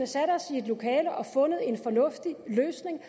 sat os i et lokale og fundet en fornuftig løsning